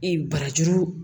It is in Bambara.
Ee barajuru